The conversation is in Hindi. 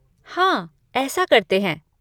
हाँ, ऐसा करते हैं।